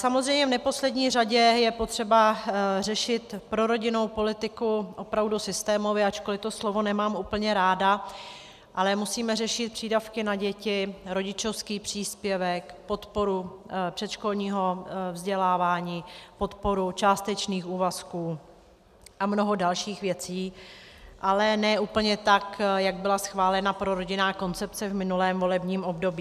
Samozřejmě v neposlední řadě je potřeba řešit prorodinnou politiku opravdu systémově, ačkoli to slovo nemám úplně ráda, ale musíme řešit přídavky na děti, rodičovský příspěvek, podporu předškolního vzdělávání, podporu částečných úvazků a mnoho dalších věcí, ale ne úplně tak, jak byla schválena prorodinná koncepce v minulém volebním období.